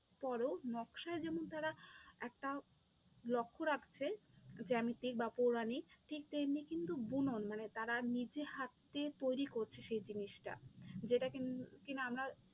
পরেও নকশায় যেমন তারা একটা লক্ষ্য রাখছে জ্যামিতিক বা পৌরণিক ঠিক তেমনি কিন্তু বুনন মানে তারা নিজে হাতে তৈরী করছে সেই জিনিসটা, যেটা কি না আমরা